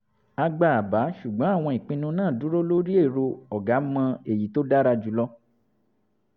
a gba àbá ṣùgbọ́n àwọn ìpinnu náà dúró lórí èrò "ọ̀gá mọ èyí tó dára jù lọ"